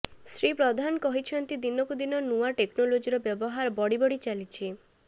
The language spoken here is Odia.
ଶ୍ରୀ ପ୍ରଧାନ କହିଛନ୍ତି ଦିନକୁ ଦିନ ନୂଆ ଟେକ୍ନୋଲୋଜିର ବ୍ୟବହାର ବଢିବଢି ଚାଲିଛି